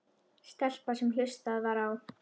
Stelpa sem hlustað var á.